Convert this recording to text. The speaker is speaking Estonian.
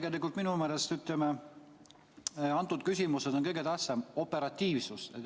Tegelikult on minu meelest antud küsimuses kõige tähtsam operatiivsus.